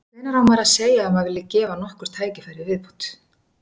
Hvenær á maður að segja að maður vilji gefa nokkur tækifæri í viðbót?